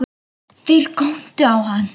Þeir góndu á hann.